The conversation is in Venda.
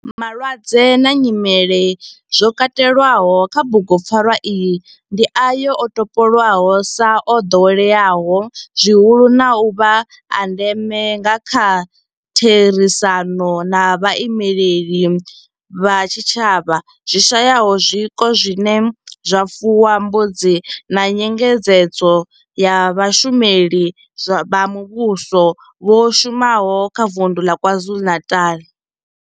Malwadze na nyimele zwo katelwaho kha bugupfarwa iyi ndi ayo o topolwaho sa o doweleaho zwihulu na u vha a ndeme nga kha therisano na vhaimeleli vha zwitshavha zwi shayaho zwiko zwine zwa fuwa mbudzi na nyengedzedzo ya vhashumeli vha muvhuso vha shumaho kha vunḓu la KwaZulu-Natal.